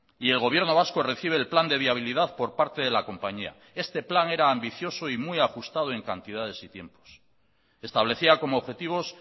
y el gobierno vasco recibe el plan de viabilidad por parte de la compañía este plan era ambicioso y muy ajustado en cantidades y tiempos establecía como objetivos